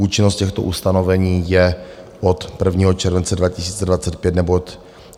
Účinnost těchto ustanovení je od 1. července 2025 nebo od...